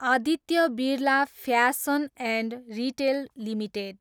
Aditya Birla fashion and retail limited